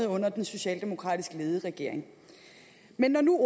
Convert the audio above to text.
under den socialdemokratisk ledede regering men når nu